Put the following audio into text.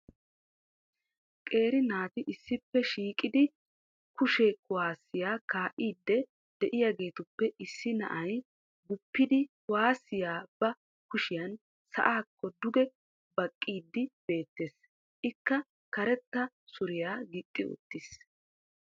qeeri naati issippe shiiqidi kushshe kuwaasiya kaa'iidi de'iyageetuppe issi na'ay guppidi kuwaassiya ba kushiyan sa'aakko duge baqiidi beettees. Ikka karetta suriya gixxi uttiis.